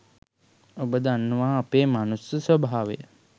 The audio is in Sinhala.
ඔබ දන්නවා අපේ මනුෂ්‍ය ස්වභාවය